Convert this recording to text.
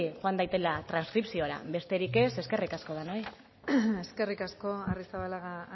joan dadila transkripziora besterik ez eskerrik asko eskerrik asko arrizabalaga